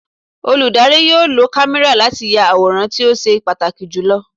Olùdarí yóò lo kámẹ́rà láti ya àwòrán tí ó ṣe pàtàkì jù lọ.